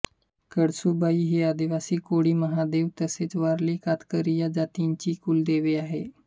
कळसुबाई हि आदिवासी कोळी महादेव तसेच वारली कातकरी या जमातींची कुलदेवी आहे